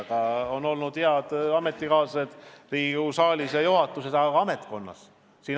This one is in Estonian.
Mul on olnud head ametikaaslased Riigikogu saalis ja juhatuses, aga ka ametnikkonnas.